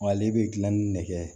Wa ale bɛ dilanni nɛgɛ